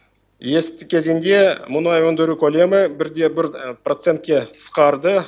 есепті кезеңде мұнай өндіру көлемі бір де бір процентке қысқарды